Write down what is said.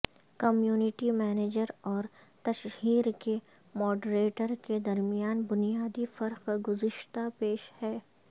community manager اور تشہیر کے ماڈریٹر کے درمیان بنیادی فرق گزشتہ پیشہ ہے